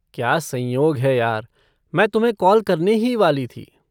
क्या संयोग है यार, मैं तुम्हें कॉल करने ही वाली थी।